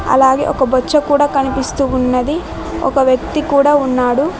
అలాగే ఒక బొచ్చ కూడా కనిపిస్తూ ఉన్నది. ఒక వ్యక్తి కూడా ఉన్నాడు.